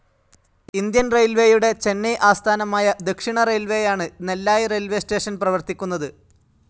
Indian റെയിൽവേയുടെ ചെന്നൈ ആസ്ഥാനമായ ദക്ഷിണറെയിൽവേയാണ് നെല്ലായി റെയിൽവേസ്‌ സ്റ്റേഷൻ പ്രവർത്തിക്കുന്നത്.